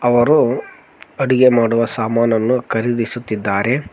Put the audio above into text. ಅವರು ಅಡಿಗೆ ಮಾಡುವ ಸಾಮಾನನ್ನು ಖರೀದಿಸುತ್ತಿದ್ದಾರೆ.